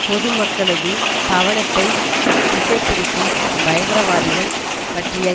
பொதுமக்களது கவனத்தை திசை திருப்பி பயங்கரவாதிகள் பற்றிய